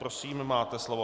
Prosím, máte slovo.